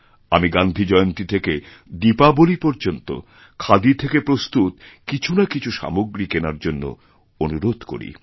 আমি গান্ধী জয়ন্তীথেকে দীপাবলী পর্যন্ত খাদি থেকে প্রস্তুত কিছু না কিছু সামগ্রী কেনার জন্য অনুরোধকরি